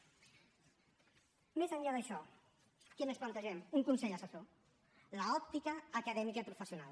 més enllà d’això què més plantegem un consell assessor l’òptica acadèmica i professional